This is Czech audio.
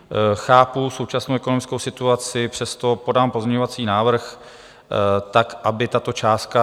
Chápu současnou ekonomickou situaci, přesto podám pozměňovací návrh tak, aby tato částka...